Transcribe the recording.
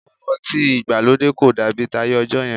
Òwò ọtí ìgbàlódé kò dàbí táyé ọjọ́ yẹn